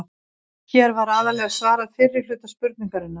Hér var aðallega svarað fyrri hluta spurningarinnar.